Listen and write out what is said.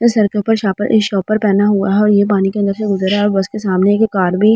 Sir के ऊपर shopper एक शॉपर पहना हुआ है और ये पानी के अंदर से गुजर रहा है और बस के सामने एक कार भी।